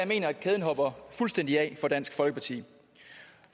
mener at kæden hopper fuldstændig af for dansk folkeparti